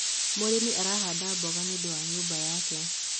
mũrĩmi arahanda mboga nĩũndũ wa nyumba yake